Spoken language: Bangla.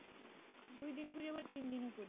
দুই দিনও করি আবার তিন দিনও করি।